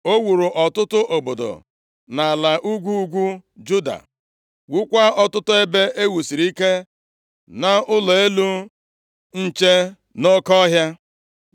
O wuru ọtụtụ obodo nʼala ugwu ugwu Juda, wuokwa ọtụtụ ebe e wusiri ike na ụlọ elu nche nʼoke ọhịa.